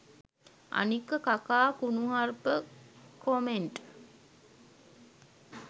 අනික කකා කුණුහරුප කොමෙන්ට්